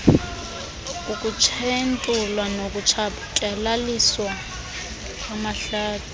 kukutshentulwa nokutshatyalaliswa kwamahlathi